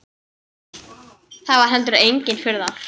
Það var heldur engin furða.